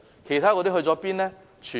其他的何去何從呢？